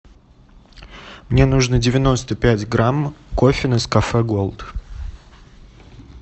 мне нужно девяносто пять грамм кофе нескафе голд